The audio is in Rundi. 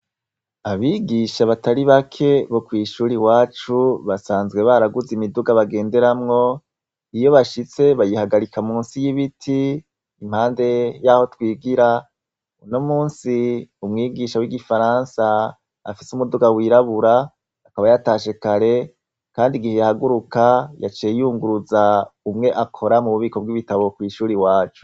Abigisha batari bake bo kw'ishuri iwacu, basanzwe baraguze imiduga bagenderamwo, iyo bashitse bayihagarika munsi y'ibiti impande y'aho twigira, uno munsi umwigisha w'igifaransa afise umuduga wirabura akaba yatashe kare kandi igihe yahaguruka yaciye yunguruza umwe akora mu bubiko bw'ibitabo kw'ishuri iwacu.